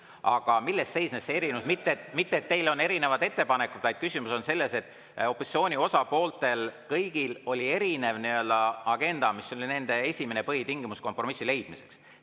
Aga milles seisneb erinevus: mitte selles, et teil on erinevad ettepanekud, vaid küsimus on selles, et kõigil opositsiooni osapooltel oli erinev agenda, mis oli nende esimene põhitingimus kompromissi leidmiseks.